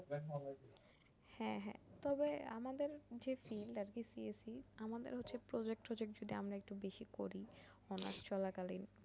হ্যা হ্যা তবে আমাদের যে filed টা আরকি CSE আমাদের হচ্ছে project ট্রোজেক্ট যদি আমরা একটু বেশি করি অনার্স চলাকালীন